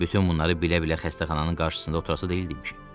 Bütün bunları bilə-bilə xəstəxananın qarşısında oturası deyildikmişik.